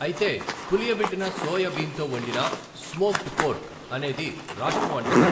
అయితే, పులియబెట్టిన సోయా బీన్తో వండిన స్మోక్డ్ పోర్క్ అనేది రాష్ట్ర వంటకం.